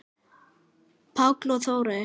Páll og Þórey.